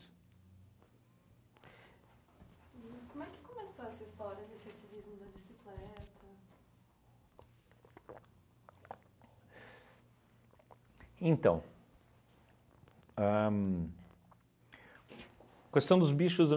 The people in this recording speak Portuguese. E como é que começou essa história desse ativismo da bicicleta? Então ahn questão dos